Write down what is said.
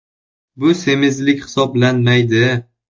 Bu semizlik hisoblanmaydi.